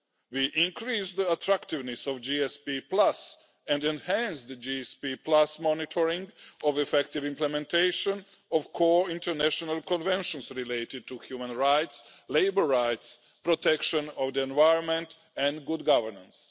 We increased the attractiveness of GSP and enhanced the GSP monitoring of effective implementation of core international conventions related to human rights, labour rights, protection of the environment and good governance.